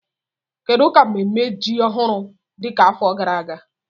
Kedu ka mmemme ji ọhụrụ dị ka afọ gara aga?